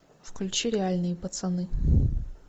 включи реальные пацаны